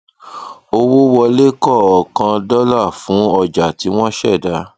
owó wọlé kọọkan dọlà fun ọjà tí wọn ṣẹdá